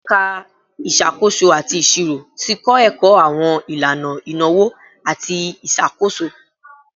Ẹka Isakoso ati Iṣiro ti kọ ẹkọ awọn ilana inawo ati iṣakoso